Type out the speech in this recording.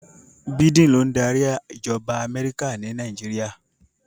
Biden ló ń darí ìjọba Amẹ́ríkà ni Nàìjíríà.